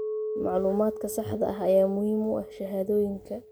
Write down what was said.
Macluumaadka saxda ah ayaa muhiim u ah shahaadooyinka.